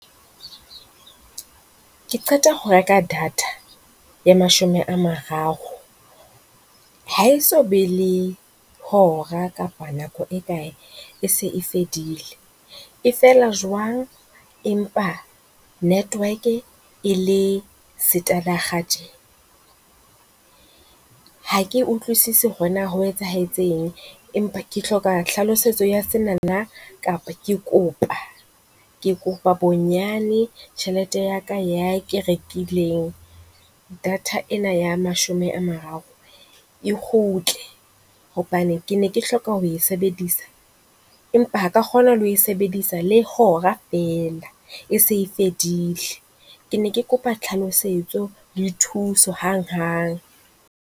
Ke qeta ho reka data ya mashome a mararo, ha e so be le hora kapa nako e kae e se e fedile. E fela jwang? Empa Network e le stadig tje. Ha ke utlwisisi hore na ho etsahetseng empa ke hloka tlhalosetso ya senana kapa ke kopa, ke kopa bonyane tjhelete ya ka ya ke rekileng data ena ya mashome a mararo. E kgutle hobane ke ne ke hloka ho e sebedisa, empa ha ka kgona le ho sebedisa le hora fela e se fedile. Ke ne ke kopa tlhalosetso le thuso hanghang.